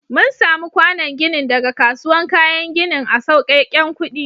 Mun samu kwànon ginin daga kasuwan kayan ginin a sauƙeken kuɗi.